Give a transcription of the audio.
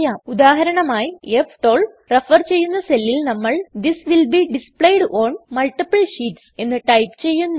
ഉദാഹരണമായി ഫ്12 റഫർ ചെയ്യുന്ന സെല്ലിൽ നമ്മൾ this will be displayed on multiple sheetsഎന്ന് ടൈപ് ചെയ്യുന്നു